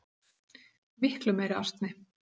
Miklu meiri asni.